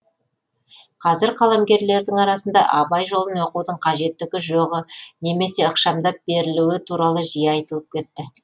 қазір қаламгерлердің арасында абай жолын оқудың қажеттігі жоғы немесе ықшамдап берілуі туралы жиі айтылып кетті